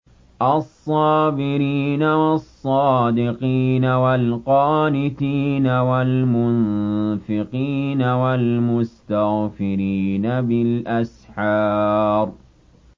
الصَّابِرِينَ وَالصَّادِقِينَ وَالْقَانِتِينَ وَالْمُنفِقِينَ وَالْمُسْتَغْفِرِينَ بِالْأَسْحَارِ